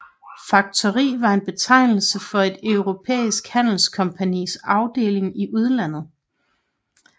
Faktori var betegnelsen for et europæisk handelskompagnis afdeling i udlandet